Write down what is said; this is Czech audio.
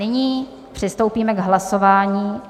Nyní přistoupíme k hlasování.